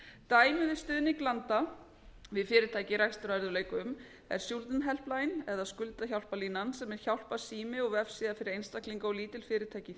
dæmi um stuðning landa við fyrirtæki í rekstrarörðugleikum er schuldenhelpline eða skuldahjálparlínan sem er hjálparsími og vefsíða fyrir einstaklinga og lítil fyrirtæki